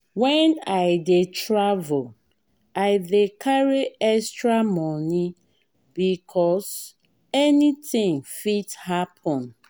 wen i dey travel i dey carry extra moni because anytin fit happen.